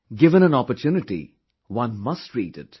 Given an opportunity, one must read it